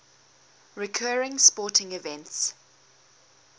recurring sporting events